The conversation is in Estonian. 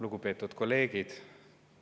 Lugupeetud kolleegid!